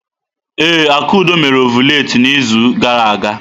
Ee, Akudo mere ọvụletị n'izu gara aga.